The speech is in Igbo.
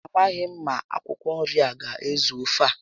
Amaghị m ma akwụkwọ nri a aga ezu ofe a